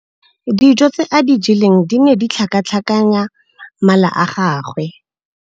Dijô tse a di jeleng di ne di tlhakatlhakanya mala a gagwe.